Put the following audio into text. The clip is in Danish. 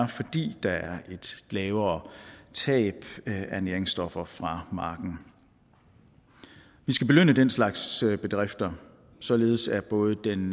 fordi der er et lavere tab af næringsstoffer fra marken vi skal belønne den slags bedrifter således at både den